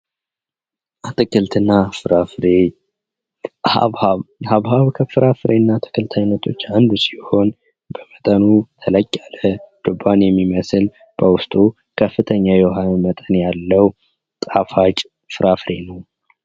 አትክልትና ፍራፍሬ ሃብሃብ። ከአትክልትና ፍራፍሬ አይነቶች አንዱ ሲሆን በመጠኑ ተለቅ ያለ፣ ዱባን የሚመስል ፣በውስጡ ከፍተኛ የውሃ መጠን ያለው፣ ጣፋጭ ፍራፍሬ ነው።